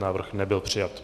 Návrh nebyl přijat.